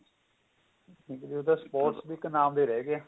ਹੁਣ ਤਾਂ sports ਵੀ ਇੱਕ ਨਾਮ ਦਾ ਰਹਿ ਗਿਆ